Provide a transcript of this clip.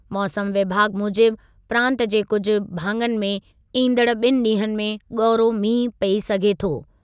मौसमु विभाॻ मूजिबि प्रांतु जे कुझु भाङनि में ईंदड़ु ॿिनि ॾींहनि में ॻौरो मींहुं पई सघे थो।